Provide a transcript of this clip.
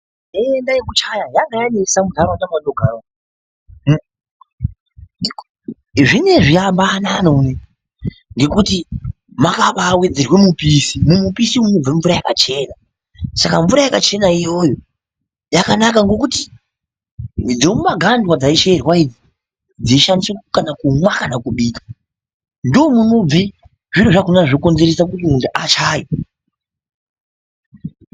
Nhenda yekuchaya yanga yanesa munharaunda mwandinogara zvinoizvi yambonani unoino ngekuti mwakaba wedzerwe mupishi, mumupishi umu munobve mvura yakachena saka mvura yakachena iyoyo yakanaka ngekuti dzemumagandwa dzaicherwa idzi dzishandiswe kumwa kana kubika ndomunobve zviro zvakona zvinokonzerese kuti munhu achaye.